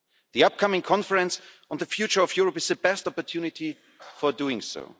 The upcoming Conference on the Future of Europe is the best opportunity for doing so.